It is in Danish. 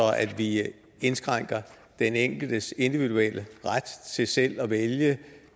at vi indskrænker den enkeltes individuelle ret til selv at vælge